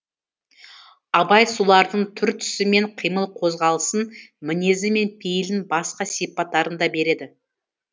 абай солардың түр түсі мен қимыл қозғалысын мінезі мен пейілін басқа сипаттарын да береді